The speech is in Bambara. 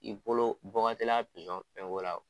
I bolo bɔ ka teli a fɛnko la.